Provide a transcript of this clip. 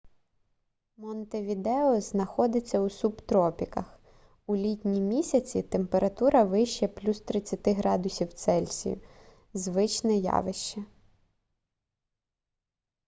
монтевідео знаходиться у субтропіках; у літні місяці температура вище +30°c – звичне явище